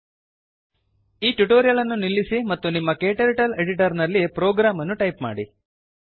ಇಲ್ಲಿ ಟ್ಯುಟೋರಿಯಲ್ ಅನ್ನು ನಿಲ್ಲಿಸಿ ಮತ್ತು ನಿಮ್ಮ ಕ್ಟರ್ಟಲ್ ಎಡಿಟರ್ ನಲ್ಲಿ ಪ್ರೋಗ್ರಾಮ್ ಅನ್ನು ಟೈಪ್ ಮಾಡಿ